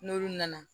N'olu nana